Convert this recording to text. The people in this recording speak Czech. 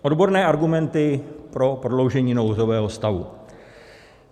Odborné argumenty pro prodloužení nouzového stavu.